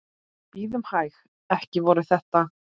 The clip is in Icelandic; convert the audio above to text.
Bíðum hæg. ekki voru þetta?